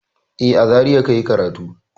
E, a Zariya ka yi karatu.